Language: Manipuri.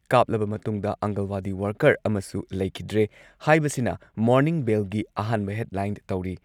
ꯀꯥꯞꯂꯕ ꯃꯇꯨꯡꯗ ꯑꯪꯒꯟꯋꯥꯗꯤ ꯋꯥꯔꯀꯔ ꯑꯃꯁꯨ ꯂꯩꯈꯤꯗ꯭ꯔꯦ ꯍꯥꯏꯕꯁꯤꯅ ꯃꯣꯔꯅꯤꯡ ꯕꯦꯜꯒꯤ ꯑꯍꯥꯟꯕ ꯍꯦꯗꯂꯥꯏꯟ ꯇꯧꯔꯤ꯫